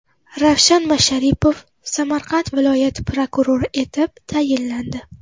Ravshan Masharipov Samarqand viloyati prokurori etib tayinlandi.